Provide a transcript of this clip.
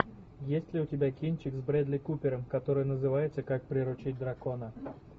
есть ли у тебя кинчик с брэдли купером который называется как приручить дракона